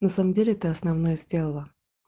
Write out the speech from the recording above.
на самом деле ты основное сделала